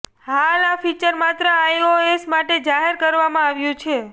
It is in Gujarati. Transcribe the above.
હાલ આ ફીચર માત્ર આઈઓએસ માટે જાહેર કરવામાં આવ્યું છે